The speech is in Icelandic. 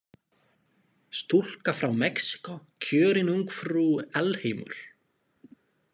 Stúlka frá Mexíkó kjörin ungfrú alheimur